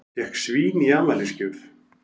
Fékk svín í afmælisgjöf